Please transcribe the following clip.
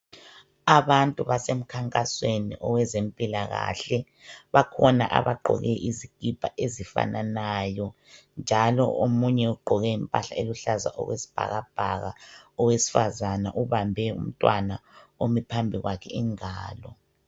Abantu basemkhankasweni owezempilakahle bakhona abagqoke izikipa ezifananayo, njalo omunye ugqoke impahla eluhlaza okwesibhakabhaka, owesifazana ubambe umntwana omi phambi kwakhe ingalo.